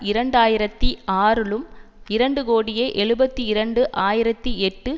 இரண்டு ஆயிரத்தி ஆறுலும் இரண்டு கோடியே எழுபத்தி இரண்டு ஆயிரத்தி எட்டு